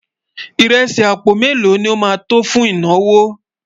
írèsì àpò mélò ló má tó fún ìnáwó?